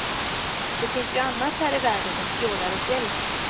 Det finns ju annat här i världen än fjordar och fjäll.